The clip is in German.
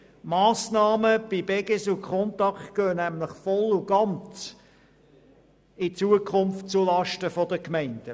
Die Massnahmen betreffend Beges und Contact gehen in Zukunft nämlich voll und ganz zulasten der Gemeinden.